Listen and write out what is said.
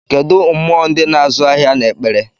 Kedụ mmụọ ndị na-azụ ahịa na-ekpere?